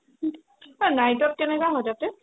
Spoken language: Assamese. ঐ night ত কেনেকা হয় তাতে